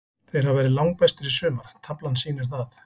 Þeir hafa verið langbestir í sumar, taflan sýnir það.